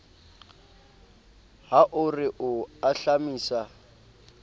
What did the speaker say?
ha o re o ahlamisa